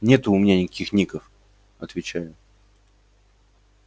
нету у меня никаких ников отвечаю